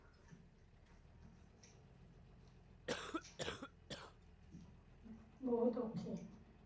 ਬਹੁਤ ਔਖੇ